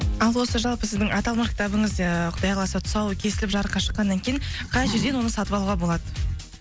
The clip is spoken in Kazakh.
ал осы жалпы сіздің аталмақ кітабыңыз ыыы құдай қаласа тұсауы кесіліп жарыққа шыққаннан кейін қай жерден оны сатып алуға болады